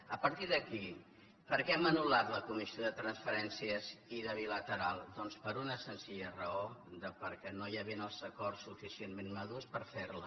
a partir d’aquí per què hem anul·lat la comissió de transferències i bilateral doncs per una senzilla raó perquè no hi havien els acords suficientment madurs per fer la